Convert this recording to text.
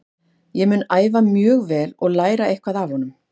Ég mun æfa mjög vel og læra eitthvað af honum.